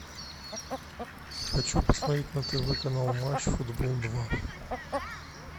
хочу посмотреть на тв канал матч футбол два